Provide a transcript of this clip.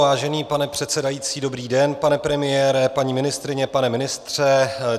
Vážený pane předsedající, dobrý den, pane premiére, paní ministryně, pane ministře.